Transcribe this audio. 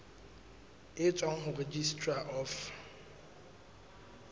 e tswang ho registrar of